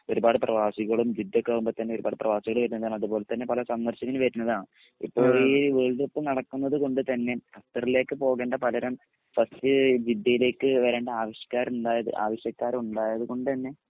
ഒരുപാട് പ്രവാസികളും ജിദ്ദേക്കെ ആവുമ്പൊ തഞ്ഞേ ഒരുപാട് പ്രവാസികൾ വെര്ണതാണ് അതുപോലെതഞ്ഞേ പല സന്ദർശകരും വെര്ണതാണ് ഇപ്പൊ ഈ വേൾഡ് കപ്പ് നടക്നത്കൊണ്ട് തഞ്ഞെ ഖത്തറിലേക് പോകണ്ട പകരം ഫസ്റ്റ് ജിദ്ദീ ലേക്ക് വരണ്ട ആവിഷ്‌കാരം ണ്ടായ ആവശ്യകര്ണ്ടായ കൊണ്ട് തന്നെ